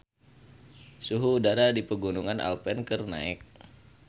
Suhu udara di Pegunungan Alpen keur naek